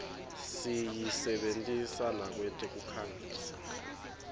siyisebentisa nakwetekukhangisa